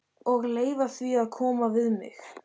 Og leyfa því að koma við mig.